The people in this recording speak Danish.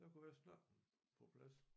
Der kunne jeg snakke den på plads